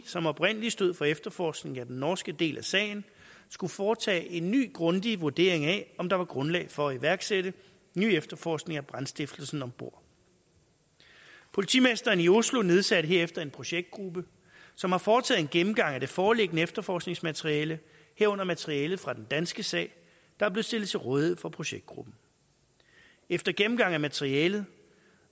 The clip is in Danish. som oprindelig stod for efterforskningen af den norske del af sagen skulle foretage en ny grundig vurdering af om der var grundlag for at iværksætte ny efterforskning af brandstiftelsen om bord politimesteren i oslo nedsatte herefter en projektgruppe som har foretaget en gennemgang af det foreliggende efterforskningsmateriale herunder materialet fra den danske sag der blev stillet til rådighed for projektgruppen efter gennemgang af materialet